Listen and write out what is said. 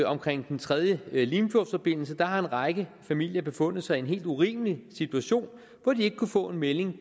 omkring den tredje limfjordsforbindelse har en række familier befundet sig i en helt urimelig situation hvor de ikke kunne få en melding